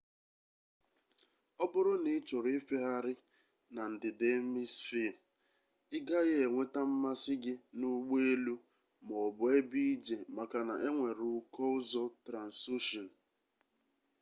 o buru na ichoro ifegheghari na ndida emisfee i gaghi enweta mmasi gi na ugbo elu ma o bu ebe ije maka na enwere uko uzo transocean